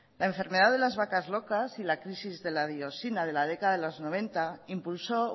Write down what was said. la enfermedad de las vacas locas y la crisis de la biosina de la década de los noventa impulsó